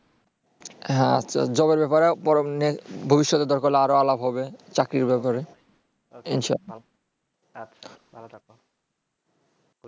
হ্যাঁ job -এর ব্যাপারে ভবিষ্যতে দরকার হলে আরো আলাপ হবে চাকরির ব্যাপারে ইনশা। আচ্ছা ভাল থাকো ।